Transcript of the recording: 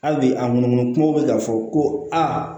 Hali bi a ŋɔnɔmɔnɔ kumaw bɛ ka fɔ ko aa